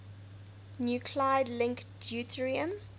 nuclide link deuterium